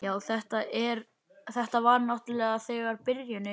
Já, þetta var náttúrlega bara byrjunin.